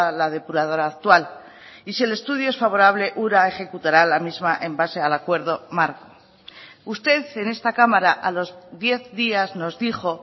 la depuradora actual y si el estudio es favorable ura ejecutará la misma en base al acuerdo mar usted en esta cámara a los diez días nos dijo